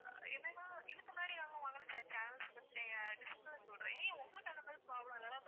ஆஹ் என்னன்னா இதுக்கு முன்னாடி நாங்க வாங்குன channels list சொல்றேன் உங்களுக்கு அந்த மாதிரி problem ஏதாவது